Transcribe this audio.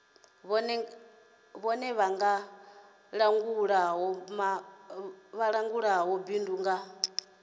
vhone vha langulaho bindu nga